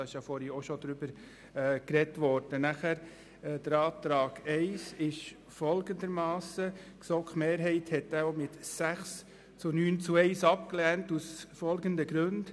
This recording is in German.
Zu Antrag I: Die GSoK-Mehrheit hat diesen ebenfalls mit 6 Ja- zu 9 Nein-Stimmen bei 1 Enthaltung abgelehnt und zwar aus folgenden Gründen: